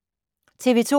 TV 2